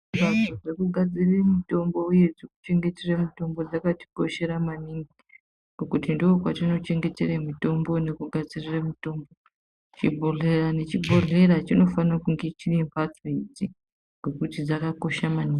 Panzvimbo dzekugadzirire mitombo uye dzekuchengetere mitombo dzakatikoshera maningi ngokuti ndokwatinochengetere mitombo nekugadzirire mitombo , chibhodhlera nechibhodhlera chinofaka kunge chinembatso idzi ngekuti dzakakosha maningi.